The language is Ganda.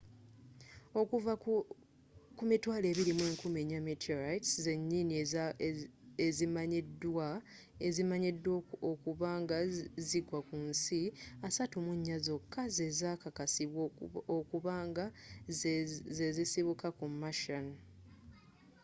okuva ku 24,000 meteorites zenyini ezimanyiddwa okuba nga zagwa kunsi 34 zokka zezakakasibwa okuba nga zasibuka mu martian